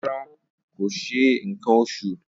Rara, ko ṣe nkan oṣu.